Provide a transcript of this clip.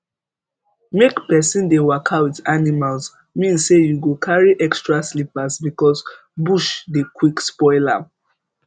make person dey waka with animals mean say you go carry extra slippers because bush dey quick spoil am